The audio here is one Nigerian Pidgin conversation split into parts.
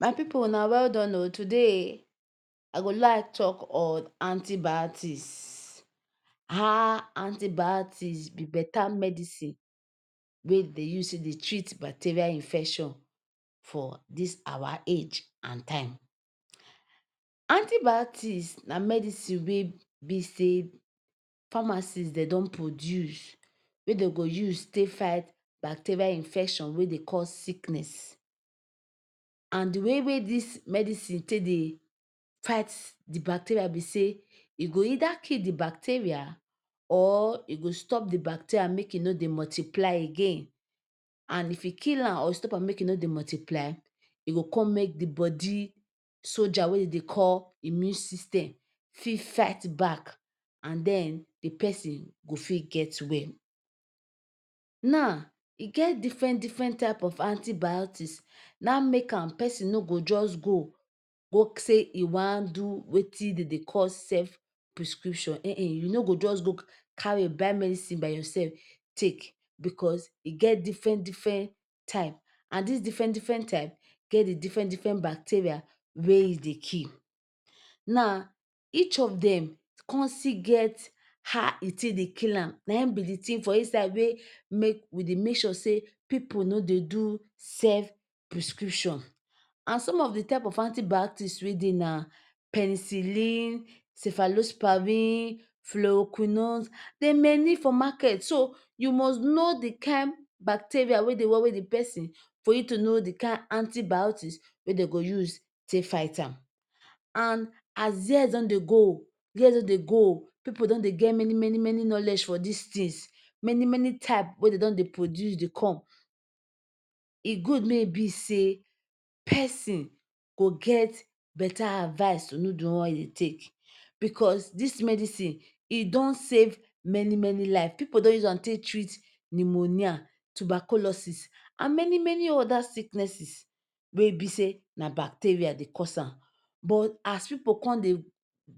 My pipu una well done oh today I go like talk on antibiotics, how antibiotics be better medicine wey dey use dey treat bacterial infection for dis our age and time. Antibiotics na medicine wey be say pharmacy dem don produce wey dey go use take fight bacterial infection wey dey cause sickness and de way wey dis medicine take dey fight de bacteria be sey e go either kill de bacteria or e go stop de bacteria make e nor dey multiply again and if e kill am or stop am make e nor multiply e go come make de body soldier wey dem dey call immune system fit fight back and then de person e fit get well. Now e get different different type of antibiotics, na make am person nor go just go, go say e wan do wetin dem dey call self-prescription[um] you nor go just go carry buy medicine by yourself take because e get different different type and this different different type get different different bacteria wey e dey kill. Now, each of dem come still get how e take dey kill am na be de thing for inside wey we dey make sure say pipu nor dey do self prescription. And Some of de type of antibiotics wey dey na pecillin, cyphaloxivin phlocomon dey many for market so you must know de kind bacteria wey dey worry de person for you to know de kind antibiotics wey dem go use take fight am. And as years don dey years don dey go pipu don dey get many many knowledge for all dis things many many type wey dem don dey produce dey come e good make e be sey person go get better advice know de one wey you go take because dis medicine e don save many many lives pipu don use am treat pneumonia, tuberculosis and many many other sickness wey be say an bacteria dey cause am but as pipu come dey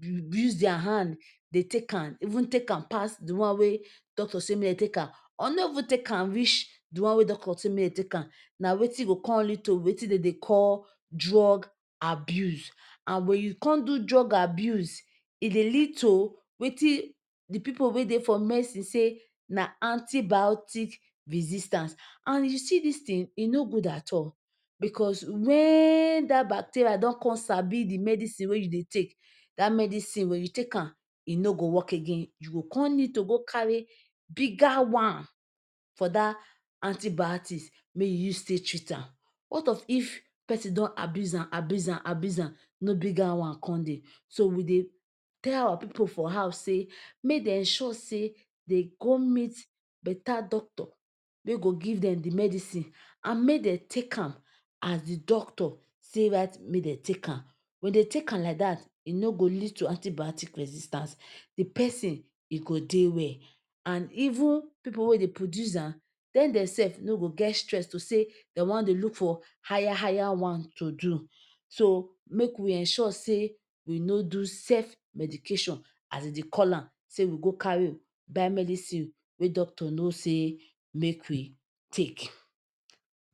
use use their hand dey take am even take am pass de one wey doctor say make dem take am or nor even take reach de one wey doctor say make dem take am na wetin go come lead to wetin dey dey call drug abuse, and when come do drug abuse e dey lead to wetin de pipu wey dey for dey for medicine dey say na antibiotics resistance and you see dis thing e nor good at all because when dat bacteria don come sabi de medicine wey you dey take dat medicine, when you take am nor go work again. You come need to go carry bigger one for dat antibiotics make you use take treat am. What of if person don abuse am, abuse, abuse am no bigger one come dey, so we dey tell our pipu for house make dem sure dem go meet better doctor wey go give dem medicine and make take am as doctor take write make dem take am, when dem take am like dat e nor go lead to antibiotics resistance de person go dey well. And even pipu wey dey produce am dey themselves nor go stress to say dem wan dey look for higher higher one to do so make ensure say we nor do self medication as dem dey call am sey we go carry buy medicine wey doctor nor say make we take.